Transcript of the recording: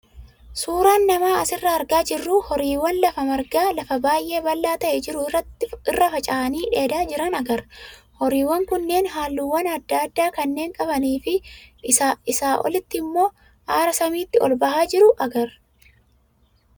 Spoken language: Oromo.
Suuraan nama asirraa argaa jirru horiiwwan lafa margaa lafa baay'ee bal'aa ta'aa jiru irra faca'anii dheedaa jiran agarra. Horiiwwan kunneen halluuwwan adda addaa kanneen qabanii fi isaa olitti immoo aara samiitti ol bahaa jiru agarra.